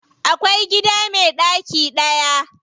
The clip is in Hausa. Akwai gida me ɗaki daya.